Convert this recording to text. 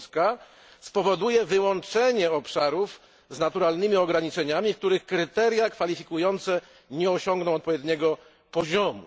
Polska, spowoduje wyłączenie obszarów z naturalnymi ograniczeniami, których kryteria kwalifikujące nie osiągną odpowiedniego poziomu.